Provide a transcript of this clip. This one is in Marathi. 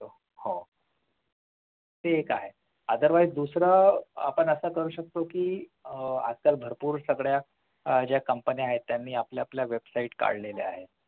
हो ते एक आहे otherwise दुसरं आपण असं करू शकतो कि आह आजकाल भरपूर सगळ्या ज्या company आहेत ते आपल्या आपल्या Website काढलेले ahet